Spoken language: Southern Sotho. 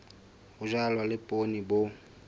ho jalwa le poone bo